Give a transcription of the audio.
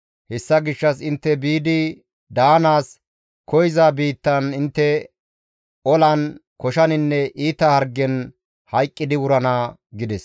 Hessa gishshas intte biidi daanaas koyza biittan intte olan, koshaninne iita hargen hayqqidi wurana» gides.